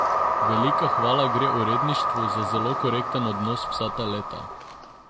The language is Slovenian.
Velika hvala gre uredništvu za zelo korekten odnos vsa ta leta.